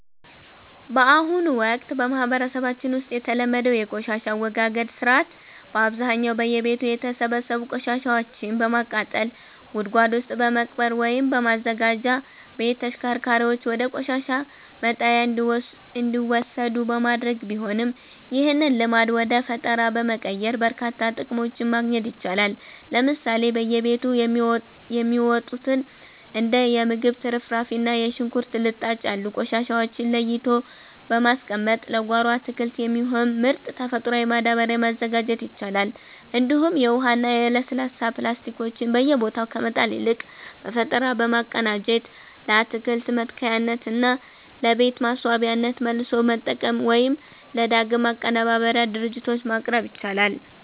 በአሁኑ ወቅት በማህበረሰባችን ውስጥ የተለመደው የቆሻሻ አወጋገድ ሥርዓት በአብዛኛው በየቤቱ የተሰበሰቡ ቆሻሻዎችን በማቃጠል፣ ጉድጓድ ውስጥ በመቅበር ወይም በማዘጋጃ ቤት ተሽከርካሪዎች ወደ ቆሻሻ መጣያ እንዲወሰዱ በማድረግ ቢሆንም፣ ይህንን ልማድ ወደ ፈጠራ በመቀየር በርካታ ጥቅሞችን ማግኘት ይቻላል። ለምሳሌ በየቤቱ የሚወጡትን እንደ የምግብ ትርፍራፊ እና የሽንኩርት ልጣጭ ያሉ ቆሻሻዎችን ለይቶ በማስቀመጥ ለጓሮ አትክልት የሚሆን ምርጥ ተፈጥሯዊ ማዳበሪያ ማዘጋጀት ይቻላል፤ እንዲሁም የውሃና የለስላሳ ፕላስቲኮችን በየቦታው ከመጣል ይልቅ በፈጠራ በማቀናጀት ለአትክልት መትከያነትና ለቤት ማስዋቢያነት መልሶ መጠቀም ወይም ለዳግም ማቀነባበሪያ ድርጅቶች ማቅረብ ይቻላል።